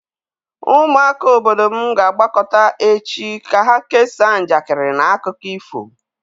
Ụmụaka obodo m ga-agbakọta echi ka ha kesaa njakịrị na akụkọ ifo.